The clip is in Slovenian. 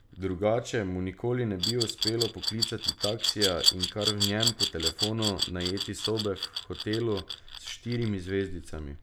Drugače mu nikoli ne bi uspelo poklicati taksija in kar v njem po telefonu najeti sobe v hotelu s štirimi zvezdicami.